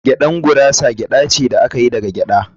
“Gada gurasa gyada ce da aka yi da gyada